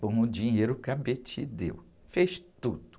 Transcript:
com o dinheiro que a deu, fez tudo.